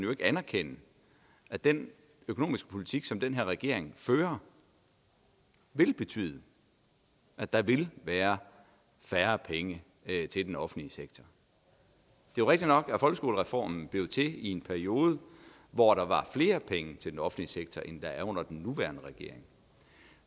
vil anerkende at den økonomiske politik som den her regering fører vil betyde at der vil være færre penge til den offentlige sektor det er rigtigt nok at folkeskolereformen blev til i en periode hvor der var flere penge til den offentlige sektor end der er under den nuværende regering